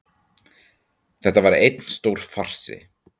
Þetta var einn stór farsi